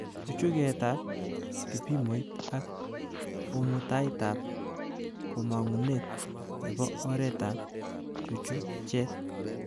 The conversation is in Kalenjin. Chuchuketab kipimoit ak kamutaitab komangunet nebo oretab chuchuchet